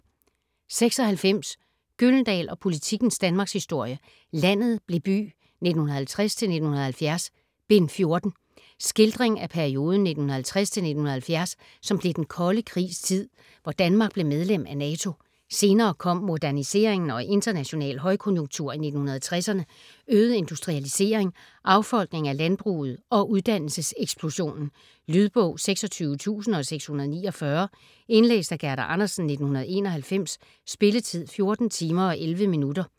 96 Gyldendal og Politikens Danmarkshistorie: Landet blev by: 1950-1970: Bind 14 Skildring af perioden 1950-1970, som blev den kolde krigs tid, hvor Danmark blev medlem af Nato. Senere kom moderniseringen og international højkonjunktur i 1960'erne, øget industrialisering, affolkning af landbruget og uddannelseseksplosionen. Lydbog 26649 Indlæst af Gerda Andersen, 1991. Spilletid: 14 timer, 11 minutter.